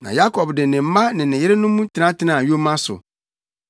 Na Yakob de ne mma ne ne yerenom tenatenaa yoma so.